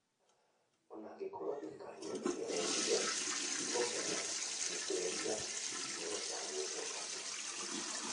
O na gũkorwo thirikari nĩ ĩgeretie kuongerera wĩitĩrĩria, nĩ kũratanyũo atĩ